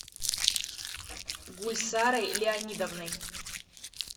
гульсарой леонидовной